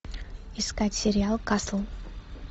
искать сериал касл